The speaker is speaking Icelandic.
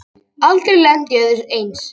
Aldrei lent í öðru eins